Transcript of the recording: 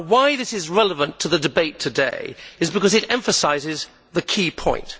This is relevant to the debate today because it emphasises the key point.